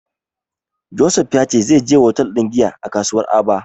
Joseph ya ce zai je hotel ɗin giya a kasuwar Aba.